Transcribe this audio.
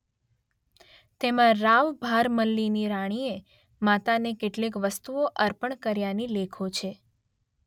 તેમાં રાવ ભારમલ્લીની રાણીએ માતાને કેટલીક વસ્તુઓ અર્પણ કર્યાની લેખો છે